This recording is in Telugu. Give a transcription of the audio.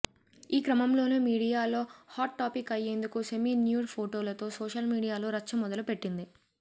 ఈ క్రమంలోనే మీడియాలో హాట్ టాపిక్ అయ్యేందుకు సెమీ న్యూడ్ ఫోటోలతో సోషల్ మీడియాలో రచ్చ మొదలు పెట్టింది